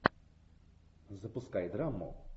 запускай драму